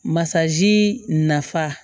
Masaji nafa